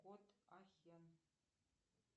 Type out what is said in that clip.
кот ахен